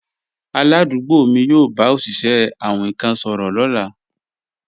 Aládùúgbò mi yóò bá òṣìṣẹ́ awin kan sọ̀rọ̀ lọ́la